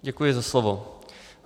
Děkuji za slovo.